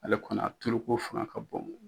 Ale kɔni a tuluko fanga ka bon.